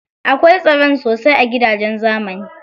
Akwai tsaron sosai a gidajen zamani.